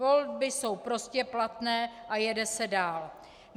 Volby jsou prostě platné a jede se dál.